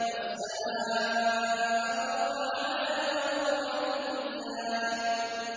وَالسَّمَاءَ رَفَعَهَا وَوَضَعَ الْمِيزَانَ